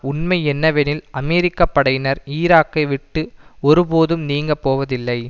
உண்மை என்னவெனில் அமெரிக்க படையினர் ஈராக்கை விட்டு ஒருபோதும் நீங்க போவதில்லை